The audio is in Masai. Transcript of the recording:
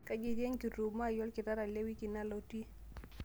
kaji etii enkitumo aai olkitarri te wiki nalotiu